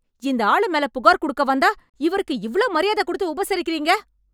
இந்த ஆளு மேல புகார் குடுக்க வந்தா, இவருக்கு இவ்ளோ மரியாதை கொடுத்து உபசரிக்கறீங்க...